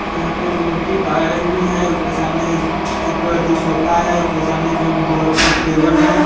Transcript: यहां पे beauty parlour भी है उसके सामने एक अथि सोफा है उसके सामने दो जो एक टेबल है।